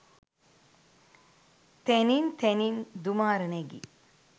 තැනින් තැනින් දුමාර නැගි